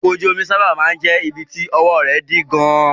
Ọkọ̀ ojú omi sábà máa ń jẹ́ ibi tí ọwọ́ rẹ̀ dí gan-an.